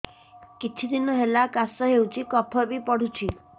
କିଛି ଦିନହେଲା କାଶ ହେଉଛି କଫ ବି ପଡୁଛି